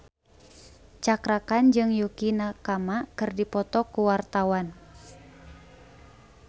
Cakra Khan jeung Yukie Nakama keur dipoto ku wartawan